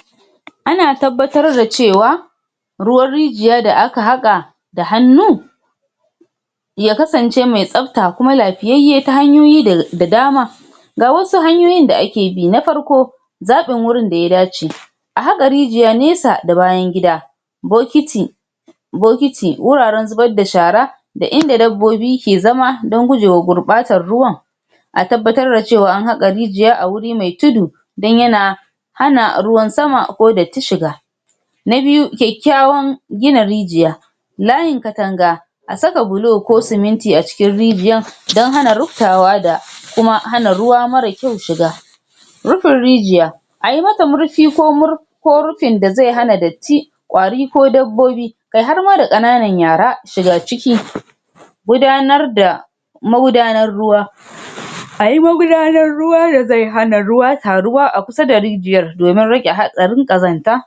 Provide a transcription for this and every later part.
? ana tabbatar da cewa ruwan rijiya da aka haƙa da hannu ya kasance mai tsafta kuma lafiyayye ta hanyoyi da dama ga wasu hanyoyin da ake bi na farko zaɓin wurin da ya dace a haƙa rijiya nesa da bayan gida bokiti bokiti, wuraren zubar da shara da inda dabbobi ke zama don gujewa gurɓatar ruwan a tabbatar da cewa an haƙa rijiya a wuri mai tudu dan yana hana ruwan sama ko datti shiga na biyu kyakkyawan gina rijiya layin katanga a saka bulo ko siminti a cikin rijiyan dan hana ruptawa da kuma hana ruwa mara kyau shiga rupin rijiya ayi mata murpi ko mur ko rupin da zai hana datti ƙwari ko dabbobi kai har ma da ƙananan yara shiga ciki gudanar da magudanar ruwa? ayi magudanar ruwa da zai hana ruwa taruwa a kusa da rijiyar domin rage hatsarin ƙazanta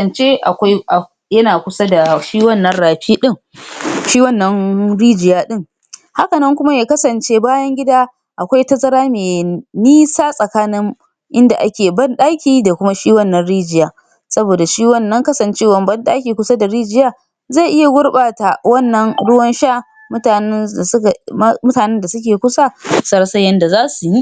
zance akwai abu yana kusa dashi wannan rapi ɗin shi wannan rijiya ɗin? hakanan kuma ya kasance bayan gida akwai tazara me nisa tsakanin inda ake ban ɗaki da kuma shi wannan rijiya saboda shi wannan kasancewan ban ɗaki kusa da rijiya zai iya gurɓata wannan ruwan sha mutanen da suka ma mutanen da suke kusa su rasa yanda zasu yi?